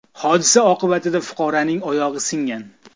Hodisa oqibatida fuqaroning oyog‘i singan.